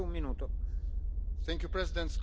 other side.